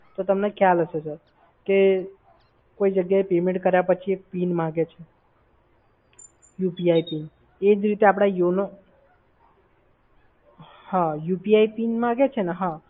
તો તમને ખ્યાલ હશે સર, કે કોઈ જગ્યાએ payment કર્યા પછી PIN માંગે છે UPI પિન. એ જ રીતે આપડે યોનો હા UPI પિન માંગે છે ને? હા.